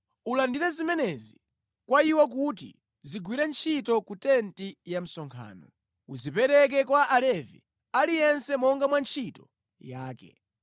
“Ulandire zimenezi kwa iwo kuti zigwire ntchito ku tenti ya msonkhano. Uzipereke kwa Alevi, aliyense monga mwa ntchito yake.”